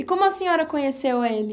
E como a senhora conheceu ele?